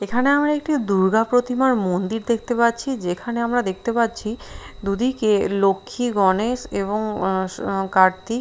এখানে আমরা একটি দূর্গা প্রতিমার মন্দির দেখতে পাচ্ছি যেখানে আমরা দেখতে পাচ্ছি দুদিকে লক্ষী গণেশ এবং কার্তিক --